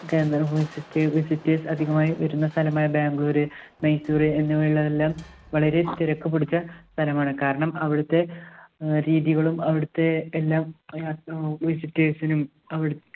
കേന്ദ്രം, വിസിറ്റേ~ visitors അധികമായി വരുന്ന സ്ഥലമായ ബാംഗ്ലൂര്, മൈസൂര് എന്നിവയെ~യെല്ലാം വളരെ തിരക്കുപിടിച്ച സ്ഥലമാണ്. കാരണം അവിടുത്തെ അഹ് രീതികളും അവിടുത്തെ എല്ലാം visitor ഴ്സിനും അവിട്